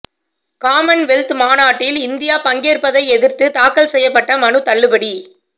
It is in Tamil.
காமன்வெல்த் மாநாட்டில் இந்தியா பங்கேற்பதை எதிர்த்து தாக்கல் செய்யப்பட்ட மனு தள்ளுபடி